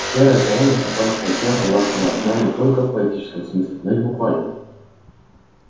серая заря наступающего дня была холодна не только в поэтическом смысле но и в буквальном